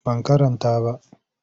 Ban karanta ba.